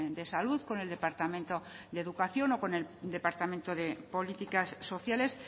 de salud con el departamento de educación o con el departamento de políticas sociales